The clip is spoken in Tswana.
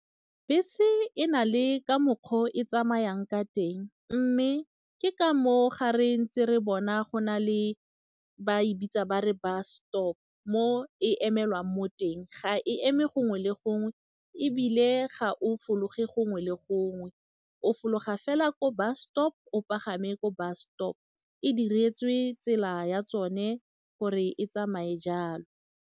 Bese e na le ka mokgwa o e tsamayang ka teng mme ke ka moo ga re ntse re bona go na le ba e bitsa ba re bus stop mo e emelwang mo teng, ga e eme gongwe le gongwe ebile ga o fologa gongwe le gongwe, o fologa fela ko bus stop, o pagame ko bus stop, e diretswe tsela ya tsone gore e tsamaye jalo.